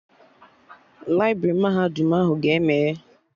Laibrị mahadum ahụ ga-emeghe